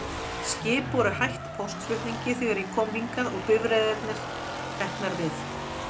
Skip voru hætt póstflutningi þegar ég kom hingað, og bifreiðirnar teknar við.